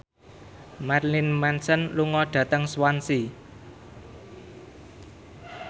Marilyn Manson lunga dhateng Swansea